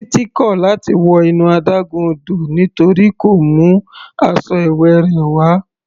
Titi kò láti wọ inú adágún odò nítorí kò mú aṣọ ìwẹ̀ rẹ̀ wá.